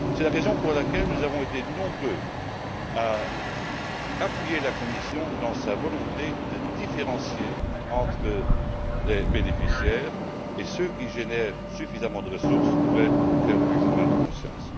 C'est la raison pour laquelle nous avons été nombreux à appuyer la Commission dans sa volonté de différencier entre les bénéficiaires, et ceux qui génèrent suffisamment de ressources devraient faire leur examen de conscience.